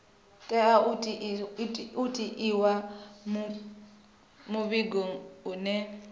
tea u itiwa muvhigo une